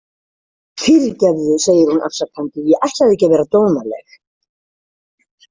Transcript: Fyrirgefðu, segir hún afsakandi, „ég ætlaði ekki að vera dónaleg.